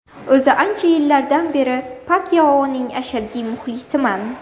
O‘zi ancha yildan beri Pakyaoning ashaddiy muxlisiman.